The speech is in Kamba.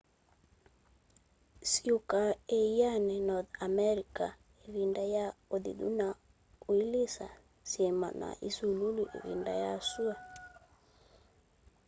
siũũka ĩanĩ north america ivinda ya uthithũ na uilisa syima na isulũlũ ivinda ya sua